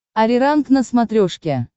ариранг на смотрешке